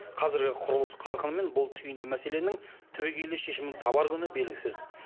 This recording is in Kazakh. қазіргі құрылыс қарқынымен бұл түйінді мәселенің түбегейлі шешімін табар күні белгісіз